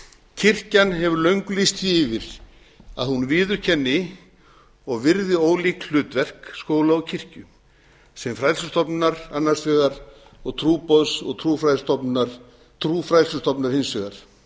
kirkjan hefur löngu lýst því yfir að hún viðurkenni og virði ólík hlutverk skóla og kirkju sem fræðslustofnunar annars vegar og trúboðs og trúfræðslustofnunar hins vegar